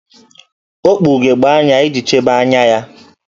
O kpu ugegbe anya iji chebe anya ya